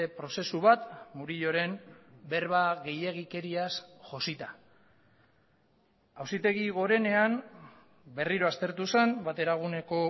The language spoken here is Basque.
prozesu bat murilloren berba gehiegikeriaz josita auzitegi gorenean berriro aztertu zen bateraguneko